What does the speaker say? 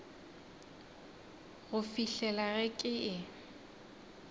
go fihlela ge ke e